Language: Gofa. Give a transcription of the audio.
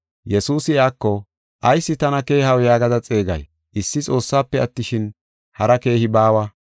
Yesuusi iyako, “Ayis tana keehaw yaagada xeegay? Issi Xoossafe attishin, hari keehi baawa.